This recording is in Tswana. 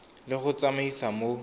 le go di tsamaisa mo